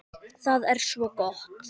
Það er svo gott!